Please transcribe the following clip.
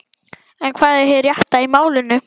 En hvað er hið rétta í málinu?